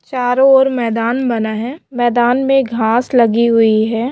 चारों और मैदान बना है मैदान मे घास लगी हुई है।